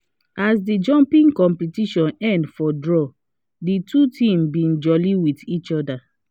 as the jumping competition end for draw the two teams been jolly with each other